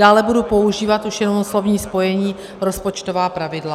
Dále budu používat už jenom slovní spojení rozpočtová pravidla.